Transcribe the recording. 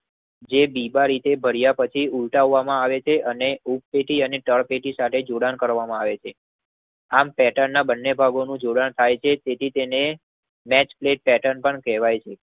જે બીબા રીતે કારિયા પછી ઉલટાવામાં આવે છે અને ઉપટેટી અને તલપેતી સાથે જોડાણ કરવામાં આવે છે. આમ પેટનના બંને ભાગો નું જોડાણ થઈ છે. તેથી તેને નેક્સપ્લેટપેર્ટન પણ કહેવાય છે.